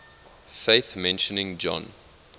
faith mentioning john